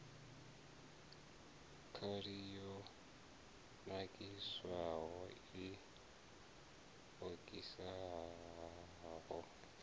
khali yo nakiswaho i okisaho